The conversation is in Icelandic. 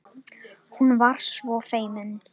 Hún var svo feimin.